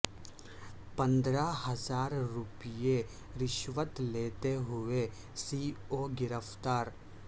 پندرہ ہزار روپئے رشوت لیتے ہوئے سی او گرفتار